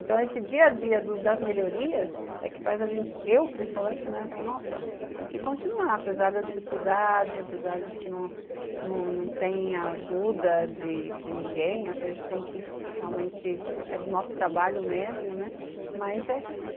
Então, esse dia a dia das melhorias é o que faz a gente, eu principalmente, né, falar, nossa, temos que continuar, apesar da dificuldade, apesar de que não tem ajuda de de ninguém, a gente tem que realmente, é do nosso trabalho mesmo, né, mas é